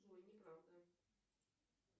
джой неправда